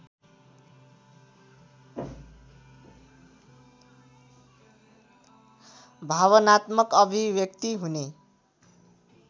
भावनात्मक अभिव्यक्ति हुने